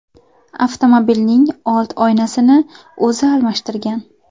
Avtomobilning old oynasini o‘zi almashtirgan.